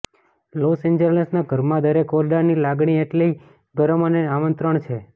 loss એન્જલસના ઘરમાં દરેક ઓરડાની લાગણી એટલી ગરમ અને આમંત્રણ છે